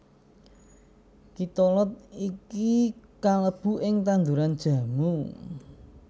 Kitolod iki kalebu ing tanduran jamu